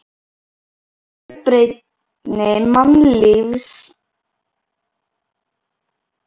Fjölbreytni mannlífsins var næstum yfirþyrmandi í iðandi grúa götulífsins.